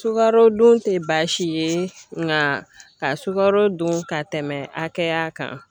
Sukarodun tɛ baasi ye nka ka sukaro dun ka tɛmɛ hakɛya kan.